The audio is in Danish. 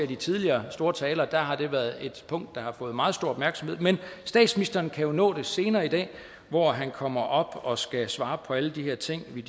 i tidligere store taler har været et punkt der har fået meget stor opmærksomhed men statsministeren kan jo nå det senere i dag hvor han kommer op og skal svare på alle de her ting vi